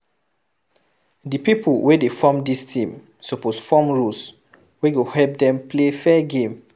Di people wey dey form dis team suppose form rules wey go help dem play fair game